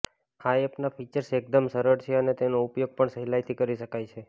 આ એપના ફીચર્સ એકદમ સરળ છે અને તેનો ઉપયોગ પણ સહેલાઈથી કરી શકાય છે